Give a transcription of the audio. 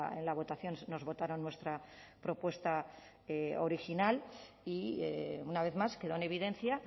en la votación nos votaron nuestra propuesta original y una vez más quedó en evidencia